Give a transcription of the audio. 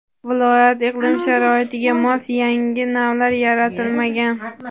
viloyat iqlim sharoitiga mos yangi navlar yaratilmagan.